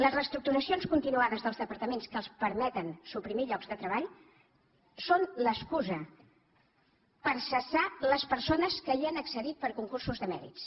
les reestructuracions continuades dels departaments que els permeten suprimir llocs de treball són l’excusa per cessar les persones que hi han accedit per concursos de mèrits